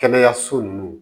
Kɛnɛyaso nunnu